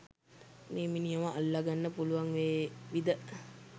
මේ මිනිහාව අල්ලගන්න පුලුවන් වේවිද